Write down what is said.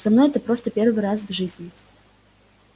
со мной это просто первый раз в жизни